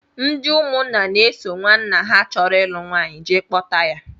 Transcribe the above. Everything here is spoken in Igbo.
Ndị ụmụnna na-eso nwanna ha chọrọ ịlụ nwaanyị jee kpọta ya